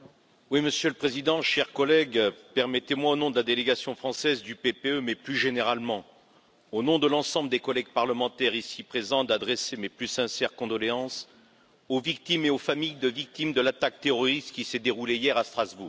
Monsieur le Président, chers collègues, permettez moi, au nom de la délégation française du PPE mais aussi, plus généralement, au nom de l'ensemble des collègues parlementaires ici présents, d'adresser mes plus sincères condoléances aux victimes et aux familles de victimes de l'attaque terroriste qui s'est déroulée hier à Strasbourg.